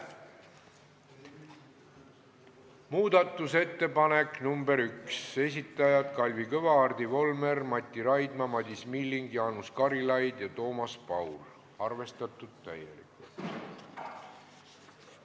Muudatusettepanek nr 1, esitajad Kalvi Kõva, Hardi Volmer, Mati Raidma, Madis Milling, Jaanus Karilaid ja Toomas Paur, arvestatud täielikult.